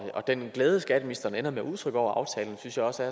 den glæde skatteministeren ender med at udtrykke over aftalen synes jeg også